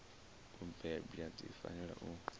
u bebwa dzi fanela u